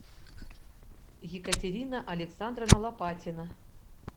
екатерина александровна лопатина